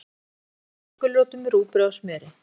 Berið fram með soðnum gulrótum, rúgbrauði og smjöri.